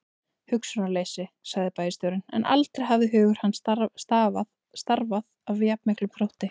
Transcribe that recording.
Hugsunarleysi sagði bæjarstjórinn, en aldrei hafði hugur hans starfað af jafn miklum þrótti.